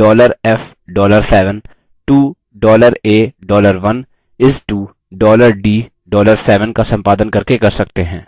$f $7 to $a $1 is to $d $7 का सम्पादन करके कर सकते हैं